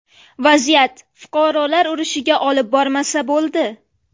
Vaziyat fuqarolar urushiga olib bormasa bo‘ldi.